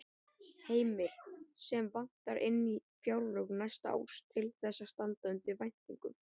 Heimir: Sem vantar inn í fjárlög næsta árs til þess að standa undir væntingum?